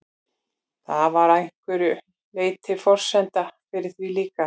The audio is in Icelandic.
Það var að einhverju leyti forsenda fyrir því líka.